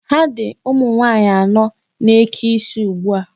Ha dị ụmụ nwaanyị anọ na-eke isi ugbu a.